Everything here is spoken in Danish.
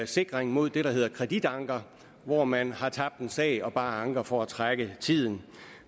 sikring mod det der hedder kreditanker hvor man har tabt en sag og bare anker for at trække tiden